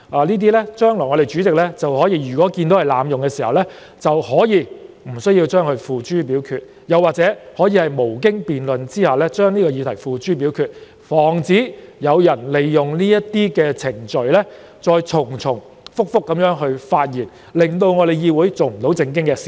如果主席日後認為議員濫用這程序，可決定不提出該議案的待議議題或無經辯論而把議題付諸表決，防止有人利用這些程序重複發言，令議會無法做正經事。